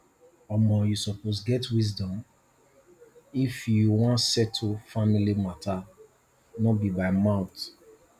omo you suppose get wisdom if you wan settle family mata no be mouth